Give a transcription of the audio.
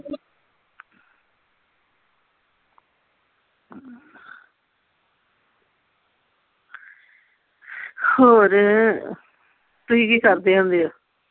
ਹੋਰ ਤੁਸੀਂ ਕੀ ਕਰਦੇ ਹੁੰਦੇ ਹੋ?